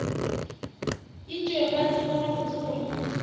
etšwe ba tseba gabotse gore